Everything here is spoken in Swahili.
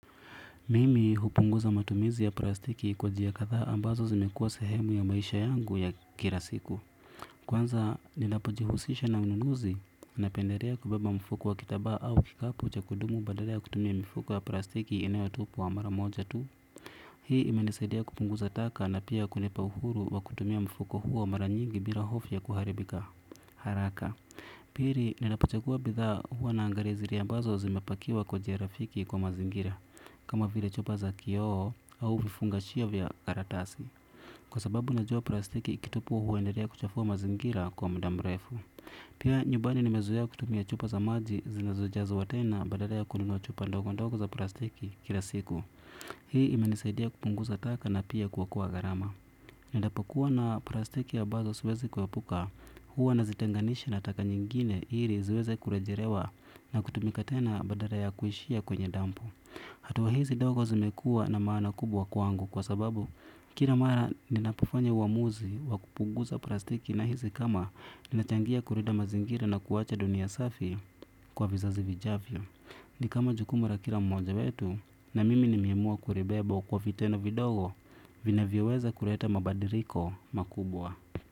Mimi hupunguza matumizi ya prastiki kwa jia kathaa ambazo zimekuwa sehemu ya maisha yangu ya kira siku. Kwanza nilapojihusisha na ununuzi napenderea kubeba mfuko wa kitabaa au kikapu cha kudumu badala ya kutumia mifuko ya prastiki inayotupwa mara moja tu. Hii imenisaidia kupunguza taka na pia kunipa uhuru wa kutumia mfuko huo mara nyingi mbila hofu ya kuharibika haraka. Piri, ninapochagua bidhaa huwa naangaria zire ambazo zimepakiwa kwa jia rafiki kwa mazingira. Kama vile chupa za kioho au vifungashia vya karatasi kwa sababu najua prastiki ikitupwo huenderea kuchafua mazingira kwa mda mrefu. Pia nyubani nimezoea kutumia chupa za maji zinazojazwa tena badara ya kununua chupa ndogo ndogo za prastiki kila siku. Hii imenisaidia kupunguza taka na pia kuokoa gharama. Ninapokuwa na prastiki abazo siwezi kuepuka. Hua nazitenganisha na taka nyingine iri ziweze kurejerewa na kutumika tena badara ya kuishia kwenye dampu. Hatua hizi dogo zimekua na maana kubwa kwangu kwa sababu kira mara ninapofanya uamuzi wa kupuguza prastiki nahizi kama ninachangia kurida mazingira na kuwacha dunia safi kwa vizazi vijavyo. Ni kama jukumu ra kila mmoja wetu na mimi nimeamua kuribebwo kwa vitendo vidogo vinavyoweza kureta mabadiriko makubwa.